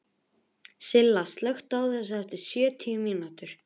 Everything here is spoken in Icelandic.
Silla, slökktu á þessu eftir sjötíu mínútur.